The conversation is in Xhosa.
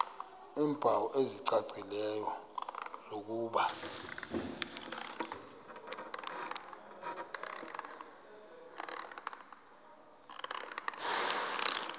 iimpawu ezicacileyo zokuba